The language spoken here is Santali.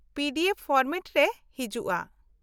-ᱯᱤ ᱰᱤ ᱮᱯᱷ ᱯᱷᱚᱨᱢᱮᱴ ᱨᱮ ᱦᱤᱡᱩᱜᱼᱟ ᱾